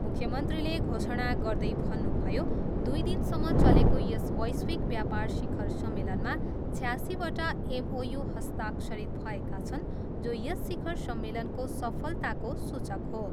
मुख्यमन्त्रीले घोषणा गर्दै भन्नुभयो, दुई दिनसम्म चलेको यस वैश्विक व्यापार शिखर सम्मेलनमा छयासीवटा एमओयू हस्ताक्षरित भएका छन् जो यस शिखर सम्मेलनको सफलताको सूचक हो।